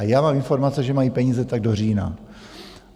A já mám informace, že mají peníze tak do října.